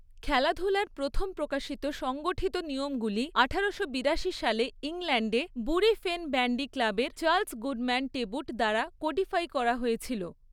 খেলাধুলার প্রথম প্রকাশিত সংগঠিত নিয়মগুলি আঠারোশো বিরাশি সালে ইংল্যান্ডে বুরি ফেন ব্যান্ডি ক্লাবের চার্লস গুডম্যান টেবুট দ্বারা কোডিফাই করা হয়েছিল।